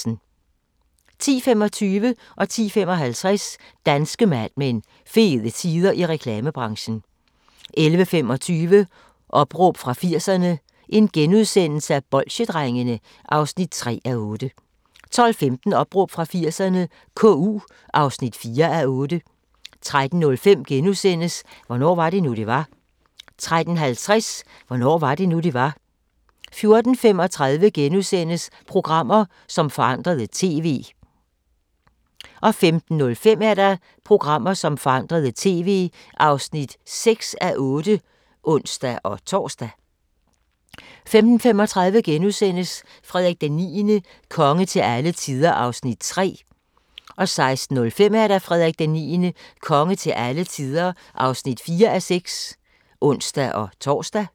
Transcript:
10:25: Danske Mad Men: Fede tider i reklamebranchen 10:55: Danske Mad Men: Fede tider i reklamebranchen 11:25: Opråb fra 80'erne – Bolsjedrengene (3:8)* 12:15: Opråb fra 80'erne - KU (4:8) 13:05: Hvornår var det nu, det var? * 13:50: Hvornår var det nu, det var? 14:35: Programmer, som forandrede TV (5:8)* 15:05: Programmer, som forandrede TV (6:8)(ons-tor) 15:35: Frederik IX – konge til alle tider (3:6)* 16:05: Frederik IX – konge til alle tider (4:6)(ons-tor)